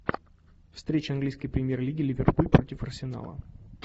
встреча английской премьер лиги ливерпуль против арсенала